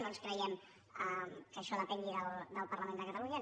no ens creiem que això depengui del parlament de catalunya